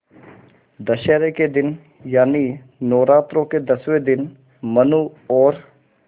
दशहरा के दिन यानि नौरात्रों के दसवें दिन मनु और